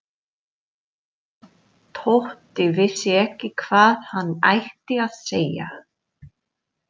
Tóti vissi ekki hvað hann ætti að segja.